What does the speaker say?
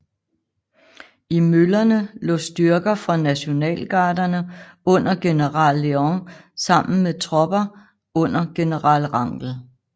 I møllerne lå styrker fra Nationalgarderne under general Leon sammen med tropper under general Rangel